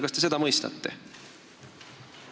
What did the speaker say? Kas te seda mõistate?